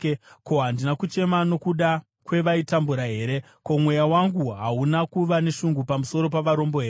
Ko, handina kuchema nokuda kwevaitambura here? Ko, mweya wangu hauna kuva neshungu pamusoro pavarombo here?